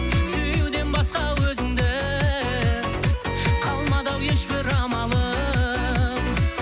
сүюден басқа өзіңді қалмады ау еш бір амалым